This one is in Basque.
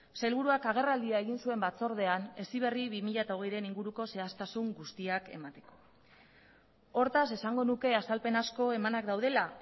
sailburuak agerraldia egin zuen batzordean heziberri bi mila hogeiren inguruko zehaztasun guztiak emateko hortaz esango nuke azalpen asko emanak daudela